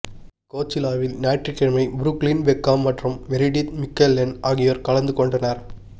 கோச்சிலாவில் ஞாயிற்றுக்கிழமை Brooklyn Beckham மற்றும் Meredith Mickelson ஆகியோர் கலந்து கொண்டனர்